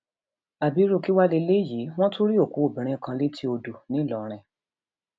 àbí irú kí wàá lélẹyìí wọn tún rí òkú obìnrin kan létí odò ńlọrọrìn